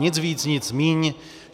Nic víc, nic míň.